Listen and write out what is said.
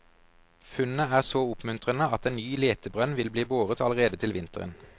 Funnet er så oppmuntrende at en ny letebrønn vil bli boret allerede til vinteren.